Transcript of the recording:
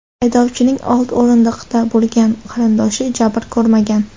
Haydovchining old o‘rindiqda bo‘lgan qarindoshi jabr ko‘rmagan.